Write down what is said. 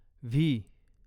V